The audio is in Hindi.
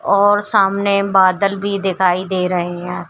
और सामने बादल भी दिखाई दे रहे हैं।